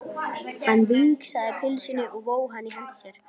Hann vingsaði pylsunni og vóg hana í hendi sér.